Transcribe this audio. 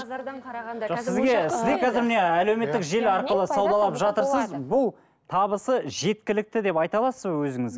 базардан қарағанда жоқ сізге сізде қазір міне әлеуметтік желі арқылы саудалап жатырсыз бұл табысы жеткілікті деп айта аласыз ба